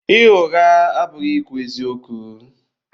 Ịgha ụgha abụghị ikwu eziokwu.